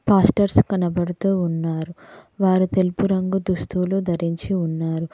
Pastors కనబడుతూ ఉన్నారు వారు తెలుపు రంగు దుస్తులు ధరించి ఉన్నారు.